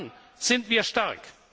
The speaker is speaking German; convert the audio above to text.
Dann sind wir